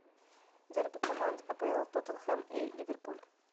дерби команд апл тоттенхэм и ливерпуль